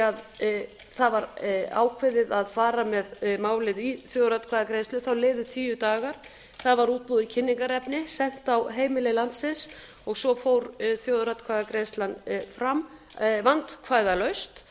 að það var ákveðið að fara með málið í þjóðaratkvæðagreiðslu liðu tíu dagar það var útbúið kynningarefni sent á heimili landsins og svo fór þjóðaratkvæðagreiðslan fram vandkvæðalaust